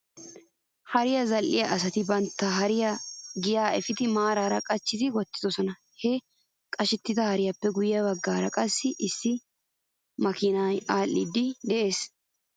Hariyaa zal'iyaa asati bantta hariyaa giyaa efidi maaraara qachchi wottidosona. He qashettida hariyaappe guyye bagaara qassi issi kaamee aadhdhiiddi des.